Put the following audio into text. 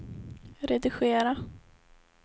redigera